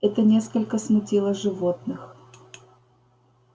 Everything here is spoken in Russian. это несколько смутило животных